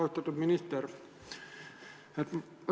Austatud minister!